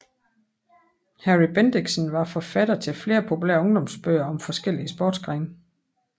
Harry Bendixen var forfatter til flere populære ungdomsbøger om forskellige sportsgrene